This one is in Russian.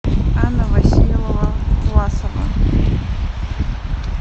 анна васильевна власова